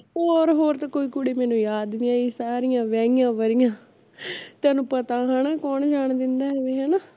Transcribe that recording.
ਹੋਰ ਹੋਰ ਤੇ ਹੋਰ ਤਾਂ ਕੋਈ ਕੁੜੀ ਮੈਨੂੰ ਯਾਦ ਨੀ ਆਈ ਸਾਰੀਆਂ ਵਿਆਹੀਆ ਵਰੀਆ ਤੈਨੂੰ ਪਤਾ ਹੈਨਾ ਕੌਣ ਜਾਨ ਦਿੰਦਾ ਐਵੇਂ ਹੈਨਾ